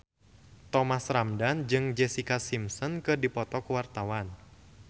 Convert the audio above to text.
Thomas Ramdhan jeung Jessica Simpson keur dipoto ku wartawan